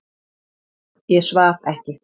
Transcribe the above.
Ég svaf ekki.